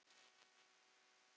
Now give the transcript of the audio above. Gögn vanti til þess.